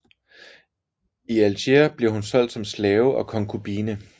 I Alger blev hun solgt som slave og konkubine